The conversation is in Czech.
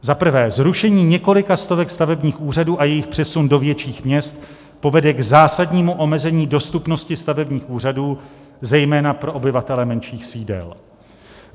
"Za prvé, zrušení několika stovek stavebních úřadů a jejich přesun do větších měst povede k zásadnímu omezení dostupnosti stavebních úřadů, zejména pro obyvatele menších sídel.